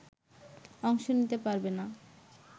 অংশ নিতে পারবে না